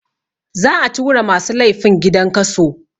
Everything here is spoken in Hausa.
Za a tura masu laifin gidan kaso